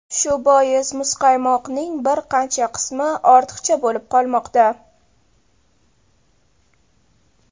Shu bois muzqaymoqning bir qancha qismi ortiqcha bo‘lib qolmoqda.